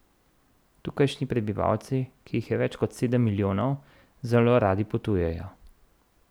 Tukajšnji prebivalci, ki jih je več kot sedem milijonov, zelo radi potujejo.